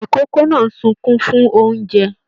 Ikòkò náà n sunkún fún oúnjẹ.